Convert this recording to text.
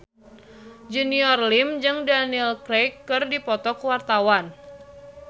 Junior Liem jeung Daniel Craig keur dipoto ku wartawan